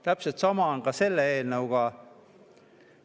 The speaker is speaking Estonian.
Täpselt samamoodi on ka selle eelnõuga.